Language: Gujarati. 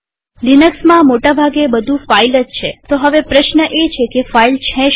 લિનક્સમાં મોટા ભાગે બધું ફાઈલ જ છેતો હવે પ્રશ્ન એ છે કે ફાઈલ છે શું